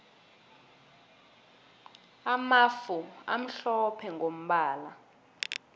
amafu amhlophe mgombala